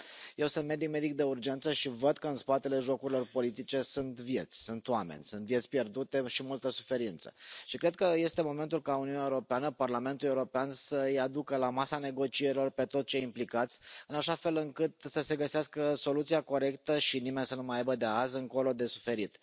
Eu sunt medic de urgență și văd că în spatele jocurilor politice sunt vieți, sunt oameni, sunt vieți pierdute și multă suferință și cred că este momentul ca Uniunea Europeană, Parlamentul European să îi aducă la masa negocierilor pe toți cei implicați, în așa fel încât să se găsească soluția corectă și nimeni să nu mai aibă de azi încolo de suferit.